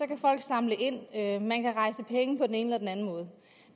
kan folk samle ind ind man kan rejse penge på den ene